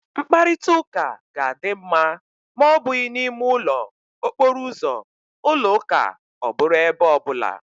Mkparịta ụka ga-adị ma ọ bụghị na ime ụlọ, okporo ụzọ, ụlọ ụka ọ bụrụ ebe ọ bụla